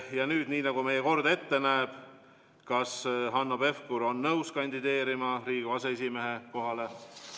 Ja nüüd, nii nagu meie kord ette näeb: kas Hanno Pevkur on nõus kandideerima Riigikogu aseesimehe kohale?